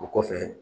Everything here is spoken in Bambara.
O kɔfɛ